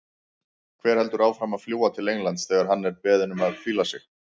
Hver heldur áfram að fljúga til Englands þegar hann er beðinn um að hvíla sig?